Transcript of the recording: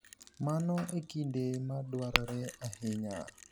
Mano e kinde ma dwarore ahinya.